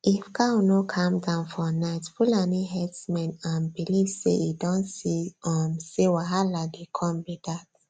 if cow no calm down for night fulani herdsmen um believe say e don see um say wahalah dey come be dat